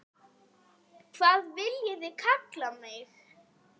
Hvað viljiði kalla mig?